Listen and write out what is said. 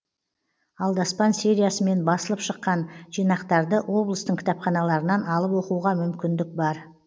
алдаспан сериясымен басылып шыққан жинақтарды облыстың кітапханаларынан алып оқуға мүмкіндік бар